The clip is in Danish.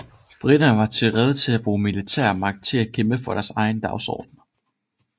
Briterne var rede til at bruge militærmagt til at kæmpe for deres egen dagsorden